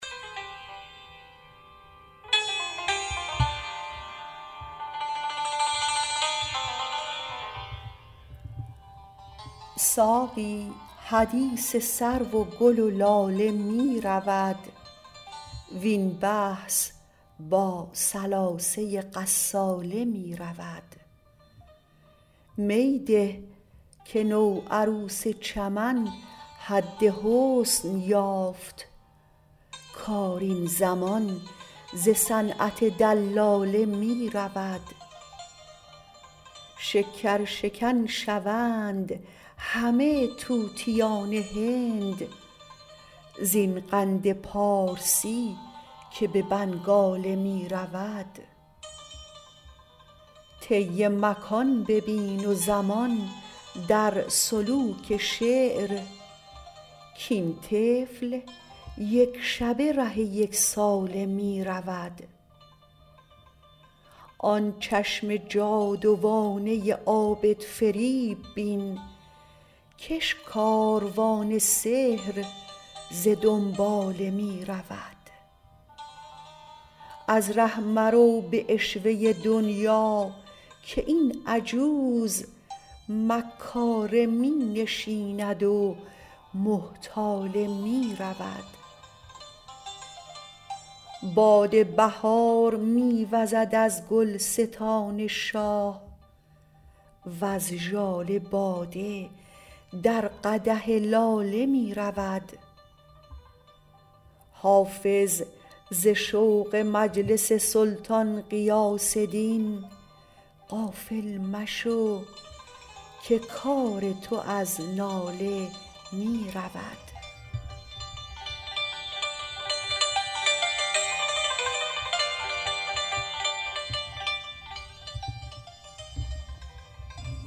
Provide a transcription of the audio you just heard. ساقی حدیث سرو و گل و لاله می رود وین بحث با ثلاثه غساله می رود می ده که نوعروس چمن حد حسن یافت کار این زمان ز صنعت دلاله می رود شکرشکن شوند همه طوطیان هند زین قند پارسی که به بنگاله می رود طی مکان ببین و زمان در سلوک شعر کاین طفل یک شبه ره یک ساله می رود آن چشم جادوانه عابدفریب بین کش کاروان سحر ز دنباله می رود از ره مرو به عشوه دنیا که این عجوز مکاره می نشیند و محتاله می رود باد بهار می وزد از گلستان شاه وز ژاله باده در قدح لاله می رود حافظ ز شوق مجلس سلطان غیاث دین غافل مشو که کار تو از ناله می رود